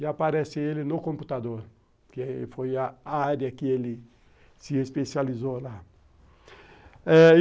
E aparece ele no computador, que foi a área que ele se especializou lá.